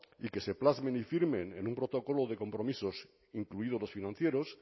y que se plasmen y firmen en un protocolo de compromisos incluidos los financieros